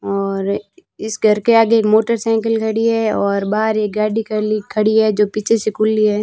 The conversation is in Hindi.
और इस घर के आगे मोटरसाइकिल खड़ी है और बाहर एक गाड़ी खली खड़ी है जो पीछे से खुली है।